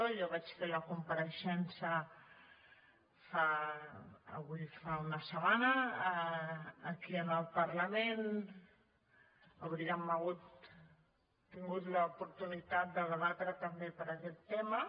jo vaig fer la compareixença avui fa una setmana aquí al parlament hauríem tingut l’oportunitat de debatre també per aquest tema